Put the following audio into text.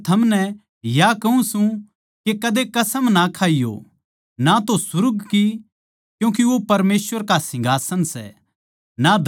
पर मै थमनै या कहूँ सूं के कदे कसम ना खाइये ना तो सुर्ग की क्यूँके वो परमेसवर का सिंहासन सै